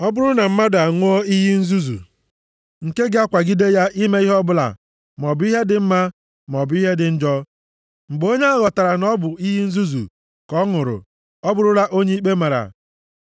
Ọ bụrụ na mmadụ a ṅụọ iyi nzuzu, nke ga-akwagide ya ime ihe ọbụla maọbụ ihe dị mma, maọbụ ihe dị njọ, mgbe onye ahụ ghọtara na ọ bụ iyi nzuzu ka ọ ṅụrụ, ọ bụrụla onye ikpe mara.